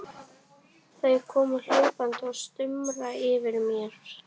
Þau koma hlaupandi og stumra yfir mér.